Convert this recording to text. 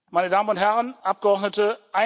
Meine Damen und Herren Abgeordnete!